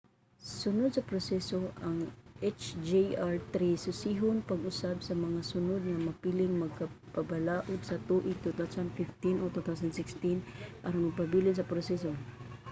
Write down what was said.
sunod sa proseso ang hjr-3 susihon pag-usab sa mga sunod nga mapiling magbabalaod sa tuig 2015 o 2016 aron magpabilin sa proseso